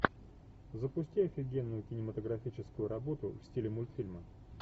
запусти офигенную кинематографическую работу в стиле мультфильма